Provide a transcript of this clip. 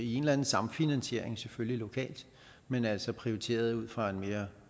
i en eller anden samfinansiering lokalt men altså prioriteret ud fra en mere